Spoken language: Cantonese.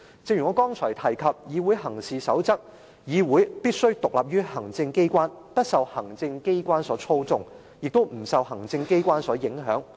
正如我剛才提及的《議會行事守則手冊》所指，議會必須獨立於行政機關，不受行政機關所操縱，亦不受行政機關所影響。